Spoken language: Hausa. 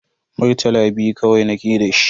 Murtala biyu kawai nake da shi.